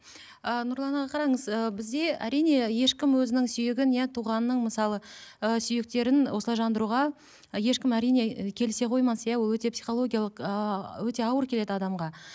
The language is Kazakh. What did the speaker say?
ы нұрлан аға қараңыз ыыы бізде әрине ешкім өзінің сүйегін иә туғанының мысалы ы сүйектерін осылай жандыруға і ешкім әрине келісе қоймас иә ол өте психологиялық ыыы өте ауыр келеді адамға